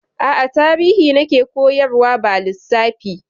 A'a, Tarihi na ke koyarwa ba Lissafi.